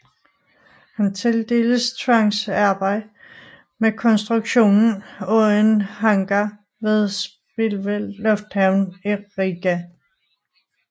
Han tildeltes tvangsarbejde med konstruktion af en hangar ved Spilve Lufthavn i Riga